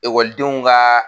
Ekɔlidenw ka